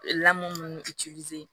Lamu